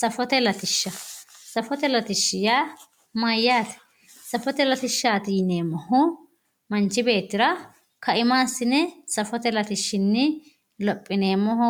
Safote latishsha, safote latishshi yaa mayate, safote latishshati yineemmohu manchi beettira kaima assi'ne safote latishshini lophineemmoho